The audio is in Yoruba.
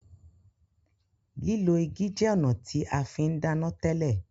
lilọ igi jẹ ọnà tí a fín dana tele.